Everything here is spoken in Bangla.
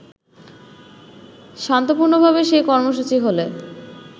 শান্তপূর্ণভাবে সেই কর্মসূচি হলে